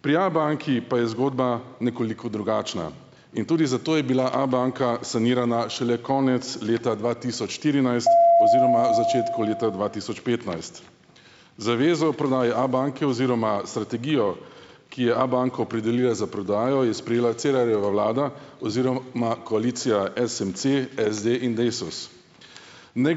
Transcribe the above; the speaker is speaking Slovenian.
Pri Abanki pa je zgodba nekoliko drugačna. In tudi zato je bila Abanka sanirana šele konec leta dva tisoč štirinajst oziroma začetku leta dva tisoč petnajst. Zavezo o prodaji Abanke oziroma strategijo, ki je Abanko opredelila za prodajo, je sprejela Cerarjeva vlada oziroma koalicija SMC, SD in Desus. Ne ...